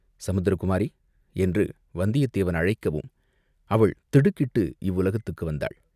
"சமுத்திர குமாரி!" என்று வந்தியத்தேவன் அழைக்கவும், அவள் திடுக்கிட்டு இவ்வுலகத்துக்கு வந்தாள்.